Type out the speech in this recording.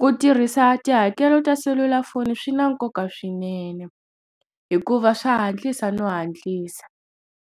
ku tirhisa tihakelo ta selulafoni swi na nkoka swinene hikuva swa hantlisa no hatlisa.